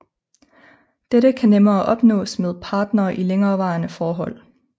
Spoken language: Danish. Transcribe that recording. Dette kan nemmere opnås med partnere i længerevarende forhold